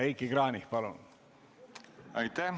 Heiki Kranich, palun!